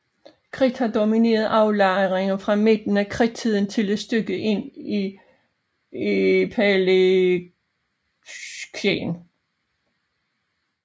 Kridt har domineret aflejringer fra midten af Kridttiden til et stykke ind i Paleocæn